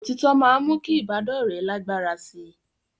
Òtítọ́ máa ń mú kí ìbádọ́rẹ̀ẹ́ lágbára sí i